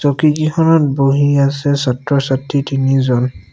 চকী কিখনত বহি আছে ছাত্ৰ-ছাত্ৰী তিনি জন।